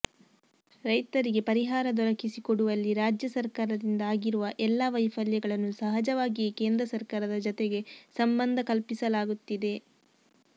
ರೈತರಿಗೆ ಪರಿಹಾರ ದೊರಕಿಸಿಕೊಡುವಲ್ಲಿ ರಾಜ್ಯ ಸರಕಾರದಿಂದ ಆಗಿರುವ ಎಲ್ಲ ವೈಫಲ್ಯಗಳನ್ನು ಸಹಜವಾಗಿಯೇ ಕೇಂದ್ರ ಸರಕಾರದ ಜತೆಗೆ ಸಂಬಂಧ ಕಲ್ಪಿಸಲಾಗುತ್ತಿದೆ